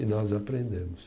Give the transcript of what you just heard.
E nós aprendemos.